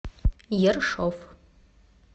ершов